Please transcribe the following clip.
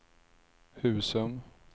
Husum